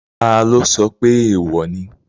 Taló sọ pé èèwò ni?